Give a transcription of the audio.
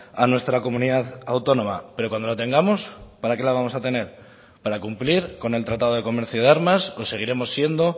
a nuestra comunidad autónoma pero cuando lo tengamos para que la vamos a tener para cumplir con el tratado de comercio de armas o seguiremos siendo